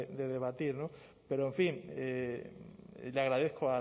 de debatir no pero en fin le agradezco